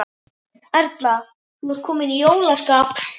Erla, ert þú komin í jólaskap?